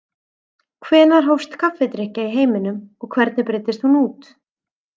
Hvenær hófst kaffidrykkja í heiminum og hvernig breiddist hún út?